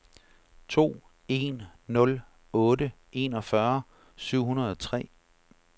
to en nul otte enogfyrre syv hundrede og tre